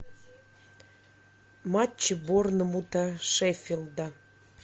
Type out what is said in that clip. матч борнмута шеффилда